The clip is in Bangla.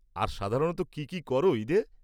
আর সাধারণত কী কী করো ঈদে?